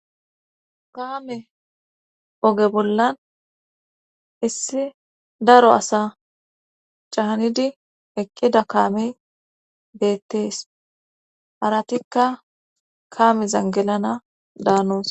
Kaame oge bollan issi daro asa cahanidi eqqida kaami beettees haratikka kaami zangilana daanoos